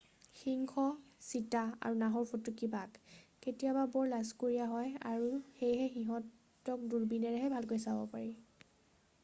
সিংহ চিতা আৰু নাহৰফুটুকী বাঘ কেতিয়াবা বৰ লাজকুৰীয়া হয় আৰু সেয়ে সিহঁতক দূৰবীণেৰেহে ভালকৈ চাব পৰা যায়